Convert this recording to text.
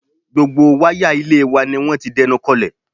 Gbogbo wáyà ilé wa ni wọ́n ti dẹnukọlẹ̀